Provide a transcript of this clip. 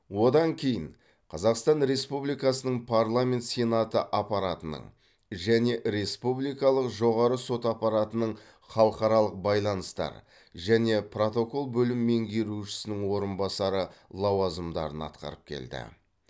одан кейін қазақстан республикасының парламент сенаты аппаратының және республикалық жоғары сот аппаратының халықаралық байланыстар және протокол бөлім меңгерушісінің орынбасары лауазымдарын атқарып келді